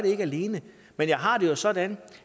ikke alene men jeg har det jo sådan